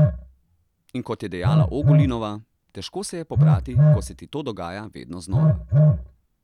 In kot je dejala Ogulinova: 'Težko se je pobrati, ko se ti to dogaja vedno znova.